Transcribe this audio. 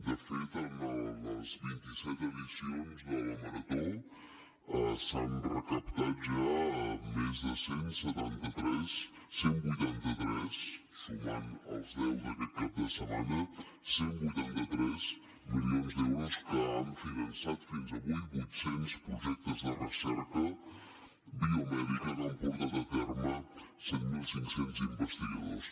de fet a les vint i set edicions de la marató s’han recaptat ja més de cent i setanta tres cent i vuitanta tres sumant els deu d’aquest cap de setmana cent i vuitanta tres milions d’euros que han finançat fins avui vuit cents projectes de recerca biomèdica que han portat a terme set mil cinc cents investigadors